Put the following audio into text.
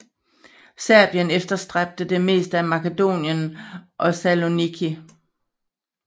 Serbien efterstræbte det meste af Makedonien og Saloniki